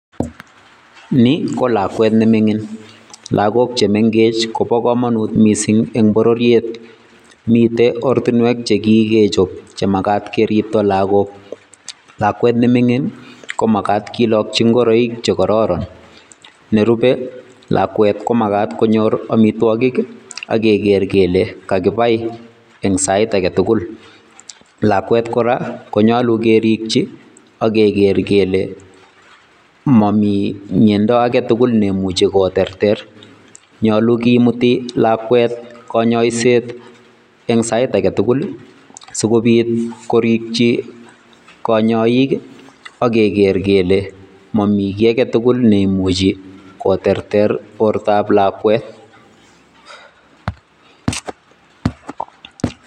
Ni ko lakwet nemingin, lagook chemengech kobo komonut missing eng bororiet, miten ortinwek chekikechop chemagaat keribtoo logook. Lakwet nemingin komagat kilokchi ngoroik che korooron, nerube lakwet komagat konyor amitwogiik ak kekeer kele kakipai eng Sait agetugul. Lakwet kora konyolu kerikchi ak kegeer kele momi miondo agetugul neimuche koterter. Nyolu kimuti lakwet konyoiset eng Sait agetugul sikobiit korikchi konyoik ak kegeeer kele momi kiiy agetugul neimuchi koterter bortab lakwet.